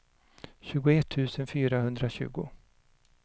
tjugoett tusen fyrahundratjugo